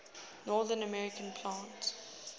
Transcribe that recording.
north american plate